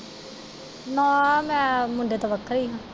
ਨਾ ਮੈਂ ਮੁੰਡੇ ਤੋਂ ਵੱਖਰੀ ਹਾਂ।